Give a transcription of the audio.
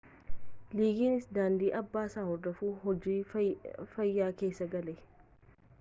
liigiins daandii abbaasaa hordofuun hojii fayyaa keessa gale